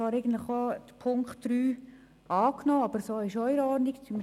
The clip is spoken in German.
Wir hätten Punkt 3 angenommen, so ist es für uns aber auch in Ordnung.